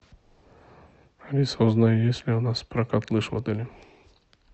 алиса узнай есть ли у нас прокат лыж в отеле